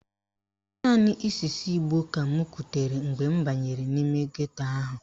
Naanị ísí ìgbó ka m kutere mgbe m banyere n'ime geto ahụ.